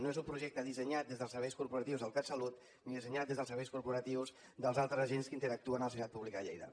no és un projecte dissenyat des dels serveis corporatius del catsalut ni dissenyat des dels serveis corporatius dels altres agents que interactuen a la sanitat pública de lleida